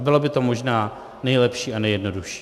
A bylo by to možná nejlepší a nejjednodušší.